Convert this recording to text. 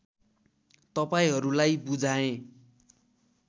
तपाइहरूलाई बुझाएँ